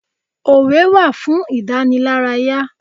Òwe wa fún ìdànílárayà.